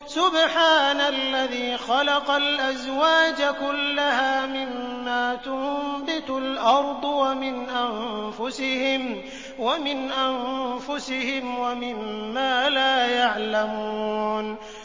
سُبْحَانَ الَّذِي خَلَقَ الْأَزْوَاجَ كُلَّهَا مِمَّا تُنبِتُ الْأَرْضُ وَمِنْ أَنفُسِهِمْ وَمِمَّا لَا يَعْلَمُونَ